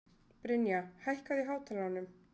Brynja, hækkaðu í hátalaranum.